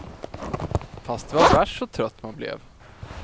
Fast det var värst så trött man blev.